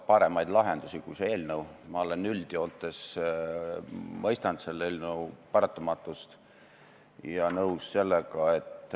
Ma tegelikult arvan, et ta saab aru, et pangad ei saa lihtsalt öelda, et võtame kliendi vastu, saagu mis saab.